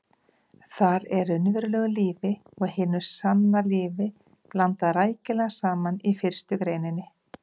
Þar er raunverulegu lífi og hinu sanna lífi blandað rækilega saman í fyrstu greininni.